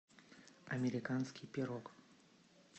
американский пирог